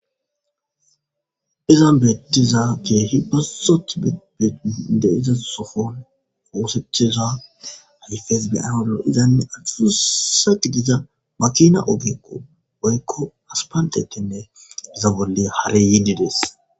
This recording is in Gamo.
Izan beettiza keehi bassoth beinde iza sofon foosecheza hayfes beyanolo izanne athususa gidiza makina obeqo oykko aspandetinne iza bolli hare yiididees.